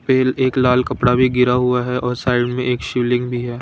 एक लाल कपड़ा भी गिरा हुआ है और साइड में एक शिवलिंग भी है।